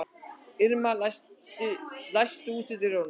Irma, læstu útidyrunum.